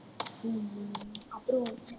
ஹம் ஹம் அப்புறம்